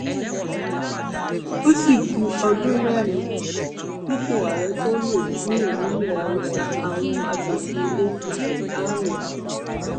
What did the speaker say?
ó sì ku ọdún mẹrin kípò àárẹ tóo lè kúrò nílẹ haúsá àwọn asòfin apc àríwá